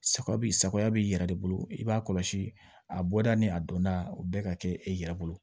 Saga b saga b'i yɛrɛ de bolo i b'a kɔlɔsi a bɔda ni a donda o bɛɛ ka kɛ e yɛrɛ bolo